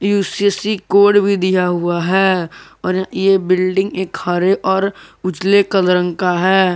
UCSC code भी दिया हुआ है और ये बिल्डिंग एक हरे और उजाले कल रंग का है।